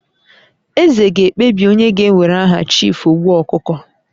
Eze ga-ekpebi onye ga-ewere aha Chief Ogbu Okuko